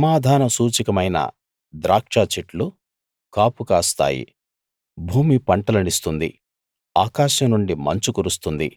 సమాధాన సూచకమైన ద్రాక్ష చెట్లు కాపు కాస్తాయి భూమి పంటలనిస్తుంది ఆకాశం నుండి మంచు కురుస్తుంది